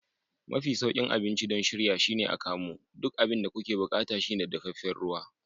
Mafi sauƙin abinci don shirya shine akamu. Duk abin da kuke buƙata shine dafefen ruwa.